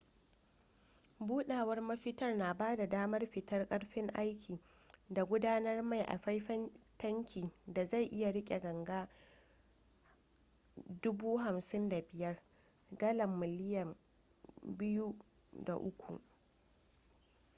budawar mafitar na bada damar fitar karfin aikin da gudanar mai a faifan tankin da zai iya rike ganga 55,000 gallan miliyan 2.3